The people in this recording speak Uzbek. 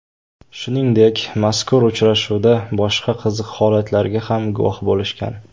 Shuningdek, mazkur uchrashuvda boshqa qiziq holatlarga ham guvoh bo‘lishgan.